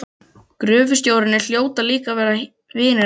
Gröfustjórarnir hljóta líka að vera vinir hans.